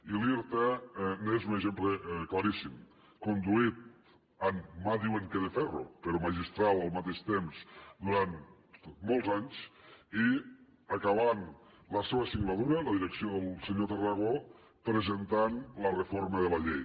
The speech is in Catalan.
i l’irta n’és un exemple claríssim conduït amb mà ho diuen de ferro però magistral al mateix temps durant molts anys i acabant la seva singladura la direcció del senyor tarragó presentant la reforma de la llei